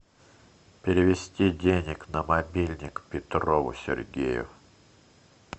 перевести денег на мобильник петрову сергею